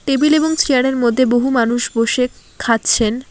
Table এবং chair -এর মধ্যে বহু মানুষ বসে খাচ্ছেন।